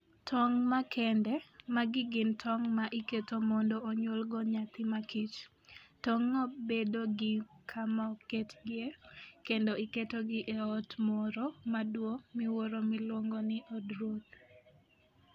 Tong' Makende: Magi gin tong' ma iketo mondo onyuolgo nyathi makich. Tong'go bedo gi kama oketgie, kendo iketogi e ot moro maduong' miwuoro miluongo ni "od ruoth".